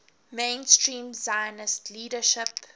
mainstream zionist leadership